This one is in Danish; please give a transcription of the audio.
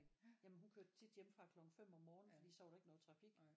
Jamen hun kørte tit hjemmefra klokken 5 om morgenen fordi så var der ikke noget trafik